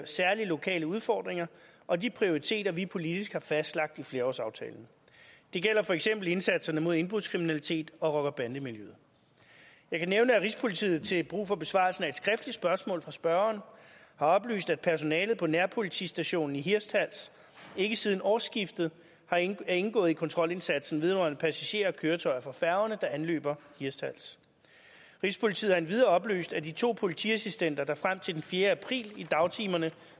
særlige lokale udfordringer og de prioriteter som vi politisk har fastlagt i flerårsaftalen det gælder for eksempel indsatserne mod indbrudskriminalitet og rocker bande miljøet jeg kan nævne at rigspolitiet til brug for besvarelsen af et skriftligt spørgsmål fra spørgeren har oplyst at personalet på nærpolitistationen i hirtshals ikke siden årsskiftet er indgået i kontrolindsatsen vedrørende passagerer og køretøjer fra færgerne der anløber hirtshals rigspolitiet har endvidere oplyst at de to politiassistenter der frem til den fjerde april i dagtimerne